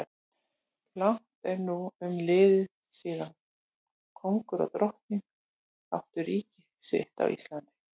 Langt er nú umliðið síðan kóngur og drottning áttu ríki sitt á Íslandi.